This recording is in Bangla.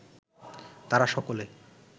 তারা সকলে